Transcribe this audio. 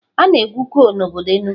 A na-egwu kol n'obodo Enugwu.